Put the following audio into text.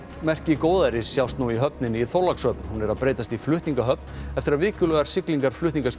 merki góðæris sjást nú í höfninni í Þorlákshöfn hún er að breytast í flutningahöfn eftir að vikulegar siglingar